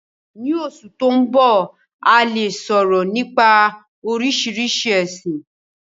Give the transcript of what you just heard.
Ní Osù to n bọ, a le soro nipa Oríṣiríṣi ẹ̀sin.